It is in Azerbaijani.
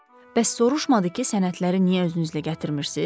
Bəs soruşmadı ki, sənədləri niyə özünüzlə gətirmirsiz?